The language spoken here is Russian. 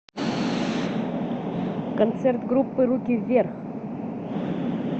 концерт группы руки вверх